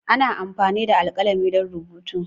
Ana amfani da alkalami don rubutu.